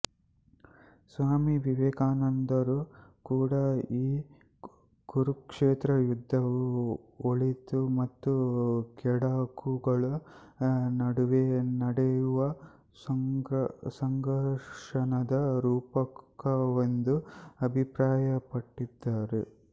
ಸ್ವಾಮಿವಿವೇಕಾನಂದರೂ ಕೂಡ ಈ ಕುರುಕ್ಷೇತ್ರ ಯುದ್ಧವು ಒಳಿತು ಮತ್ತು ಕೆಡಕುಗಳ ನಡುವೆ ನಡೆಯುವ ಸಂಘರ್ಷದ ರೂಪಕವೆಂದು ಅಭಿಪ್ರಾಯ ಪಟ್ಟಿದ್ದಾರೆ